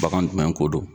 Bagan jumɛn ko don